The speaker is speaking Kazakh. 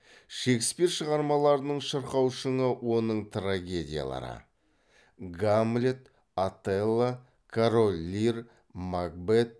шекспир шығармаларының шырқау шыңы оның трагедиялары